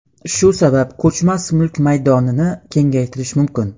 Shu sabab ko‘chmas mulk maydonini kengaytirish mumkin.